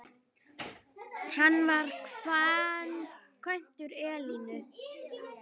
Hann var kvæntur Elínu